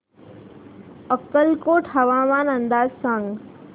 अक्कलकोट हवामान अंदाज सांग